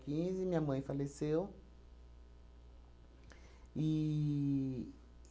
quinze minha mãe faleceu e